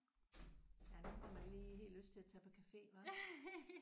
Ja nu får man lige helt lyst til at tage på café hva?